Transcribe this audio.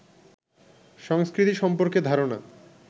সংস্কৃতি সম্পর্কে ধারণা